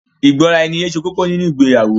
Ìgbọ́raẹniye ṣe kókó nínu ìgbéyàwó.